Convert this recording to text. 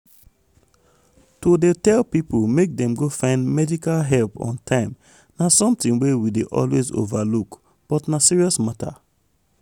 to dey tell people make dem go find medical help on time na something wey we dey always overlook but na serious matter.